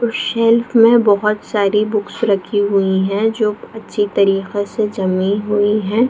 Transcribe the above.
कुछ सेल्फ में बहुत सारी बुक्स रखी हुई है जो अच्छी तरीको से जमी हुई है।